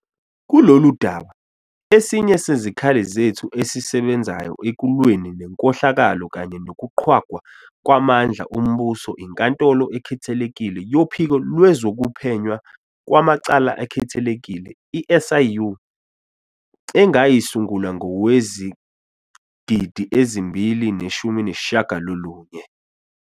Kulolu daba, esinye sezikhali zethu esisebenzayo ekulweni nenkohlakalo kanye nokuqhwagwa kwamandla ombuso iNkantolo Ekhethekile yoPhiko Lwezokuphenywa Kwamacala Akhethekile, i-SIU, engayisungula ngowezigidi ezimbili neshumi nesishiyagalolunye.